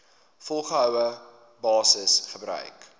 volgehoue basis gebruik